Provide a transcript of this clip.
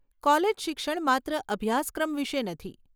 College શિક્ષણ માત્ર અભ્યાસક્રમ વિશે નથી.